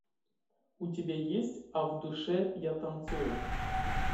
у тебя есть а в душе я танцую